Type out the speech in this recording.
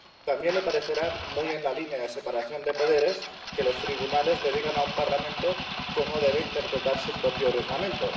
También le parecerá muy en la línea de la separación de poderes que los tribunales le digan a un parlamento cómo debe interpretar su propio reglamento